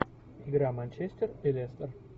игра манчестер и лестер